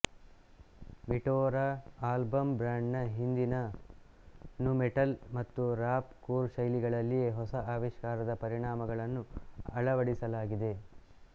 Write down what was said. Meteora album band ನ ಹಿಂದಿನ nu metal ಮತ್ತು ರಾಪ್ ಕೊರ್ ಶೈಲಿಗಳಲ್ಲಿಯೇ ಹೊಸ ಆವಿಷ್ಕಾರದ ಪರಿಣಾಮಗಳನ್ನು ಅಳವಡಿಸಲಾಗಿದೆ